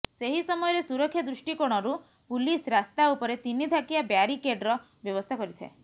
ସେହି ସମୟରେ ସୁରକ୍ଷା ଦୃଷ୍ଟିକୋଣରୁ ପୁଲିସ୍ ରାସ୍ତା ଉପରେ ତିନି ଥାକିଆ ବ୍ୟାରିକେଡ୍ର ବ୍ୟବସ୍ଥା କରିଥାଏ